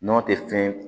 Nɔnɔ tɛ fɛn